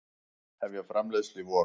Hefja framleiðslu í vor